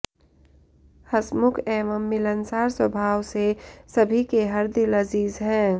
हँसमुख एवं मिलनसार स्वभाव से सभी के हरदिल अज़ीज़ हैं